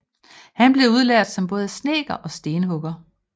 Han blev udlært som både snedker og stenhugger